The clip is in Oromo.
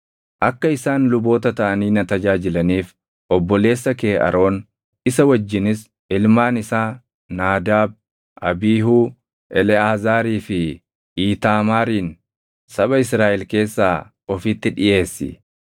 “Akka isaan luboota taʼanii na tajaajilaniif obboleessa kee Aroon, isa wajjinis ilmaan isaa Naadaab, Abiihuu, Eleʼaazaarii fi Iitaamaarin saba Israaʼel keessaa ofitti dhiʼeessi.